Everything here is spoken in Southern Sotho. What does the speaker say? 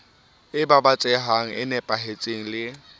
e babatsehang e nepahetseng le